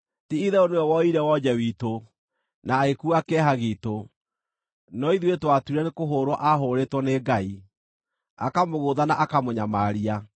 Ti-itherũ nĩwe woire wonje witũ, na agĩkuua kĩeha giitũ; no ithuĩ twatuire nĩkũhũũrwo aahũũrĩtwo nĩ Ngai, akamũgũtha na akamũnyamaria.